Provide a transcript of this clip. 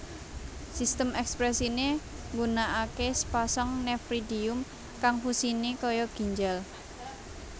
Sistem ekskresiné ngunakaké sapasang nefridium kang fungsiné kaya ginjal